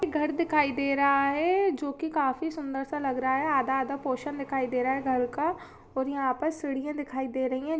घर दिखाई दे रहा है जो की काफी सुंदर सा लग रहा आधा-आधा पोरशन दिखाई दे रहा है घर का और यहां पर सीढ़ियां दिखाई दे रही है।